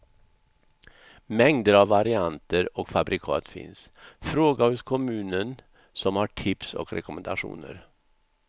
Mängder av varianter och fabrikat finns, fråga hos kommunen som har tips och rekommendationer.